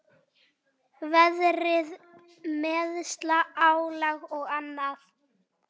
Veðrið, meiðsl, álag og annað.